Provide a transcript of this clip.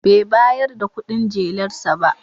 Bai bayar da kudin jelar sa ba.